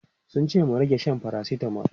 Sun ce mu rage shan paracetamol.